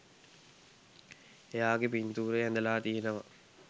එයාගෙ පින්තූරය ඇඳලා තියෙනවා